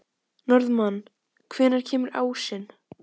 Friðrik gat með engu móti getið sér til um það.